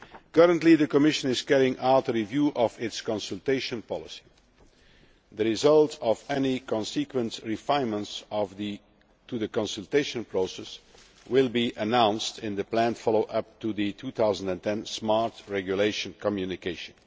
Currently, the Commission is carrying out a review of its consultation policy. The results of any consequent refinements to the consultation process will be announced in the planned follow up to the 2010 Smart Regulation Communication.